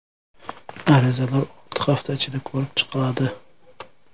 Arizalar olti hafta ichida ko‘rib chiqiladi.